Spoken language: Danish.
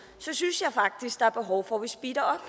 synes jeg faktisk der er behov for at vi speeder